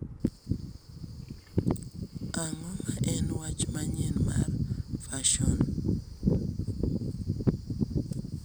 Ang'o ma en wach manyien mar fason